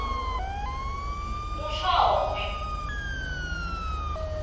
ngu nl shongwe